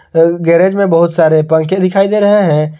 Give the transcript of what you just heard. एक गैरेज में बहुत सारे पंखे दिखाई दे रहे हैं।